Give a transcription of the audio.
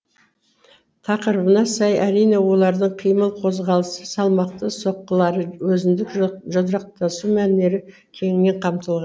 тақырыбына сай әрине олардың қимыл қозғалысы салмақты соққылары өзіндік жұдырықтасу мәнері кеңінен қамтылған